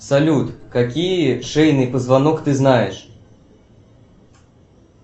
салют какие шейный позвонок ты знаешь